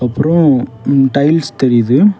அப்ரோ ம் டைல்ஸ் தெரியுது.